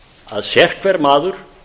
að sérhver maður